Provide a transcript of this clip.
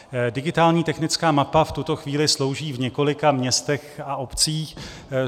Digitální technická mapa v tuto chvíli slouží v několika městech a obcích.